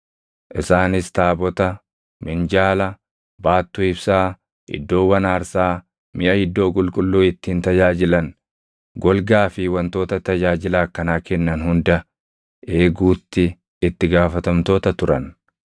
Isaanis taabota, minjaala, baattuu ibsaa, iddoowwan aarsaa, miʼa iddoo qulqulluu ittiin tajaajilan, golgaa fi wantoota tajaajila akkanaa kennan hunda eeguutti itti gaafatamtoota turan.